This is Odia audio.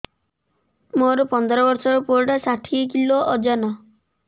ମୋର ପନ୍ଦର ଵର୍ଷର ପୁଅ ଟା ଷାଠିଏ କିଲୋ ଅଜନ